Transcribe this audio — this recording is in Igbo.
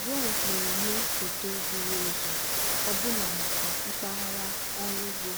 drones na-enye foto zuru ezu ọbụna maka mpaghara ọrụ ugbo